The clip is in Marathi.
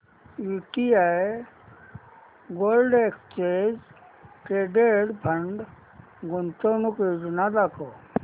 UTI gold exchange traded fund गुंतवणूक योजना दाखव